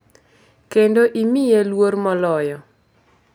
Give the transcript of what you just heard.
Kendo imiye luor moloyo.